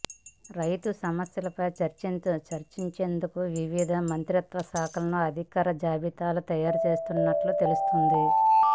రైతు సమస్యలపై చర్చించేందుకు వివిధ మంత్రిత్వ శాఖల అధికారుల జాబితా తయారు చేస్తున్నట్లు తెలుస్తోంది